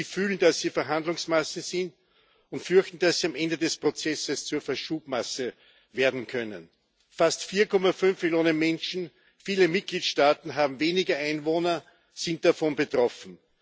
Sie fühlen, dass sie Verhandlungsmasse sind, und fürchten, dass sie am Ende des Prozesses zur Verschubmasse werden können. Fast 4,5 Millionen Menschen viele Mitgliedstaaten haben weniger Einwohner sind davon betroffen.